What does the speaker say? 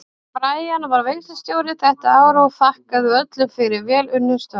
Herra Brian var veislustjóri þetta árið og þakkaði öllum fyrir vel unnin störf.